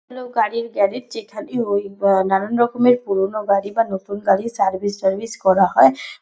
এ হলো গাড়ির গ্যারেজ যেখানে ওই অ নানান রকমের পুরনো গাড়ি বা নতুন গাড়ি সার্ভিস টার্ভিস করা হয়।